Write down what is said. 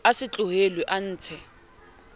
a se tlohellwe a ntshe